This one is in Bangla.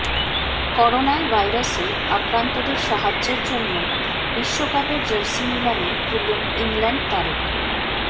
করোনায় ভাইরাসে আক্রান্তদের সাহায্যের জন্য বিশ্বকাপের জার্সি নিলামে তুললেন ইংল্যান্ড তারকা